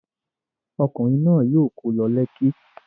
Ọkùnrin náà yóò kó lọ Lekki.